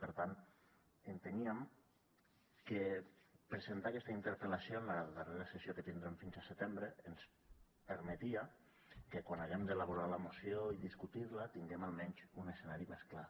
per tant enteníem que presentar aquesta interpel·lació en la darrera sessió que tindrem fins a setembre ens permetia que quan haguem d’elaborar la moció i discutir la tinguem almenys un escenari més clar